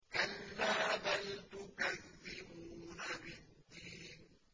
كَلَّا بَلْ تُكَذِّبُونَ بِالدِّينِ